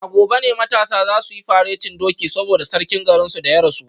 A gobe ne matasan za su yi faretin doki saboda sarkin garinsu da ya rasu